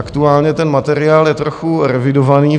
Aktuálně ten materiál je trochu revidovaný.